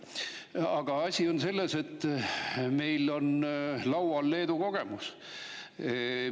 Aga asi on selles, et meil on laual Leedu kogemus.